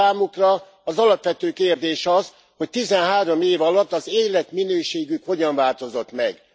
De számukra az alapvető kérdés az, hogy 13 év alatt az életminőségük hogyan változott meg.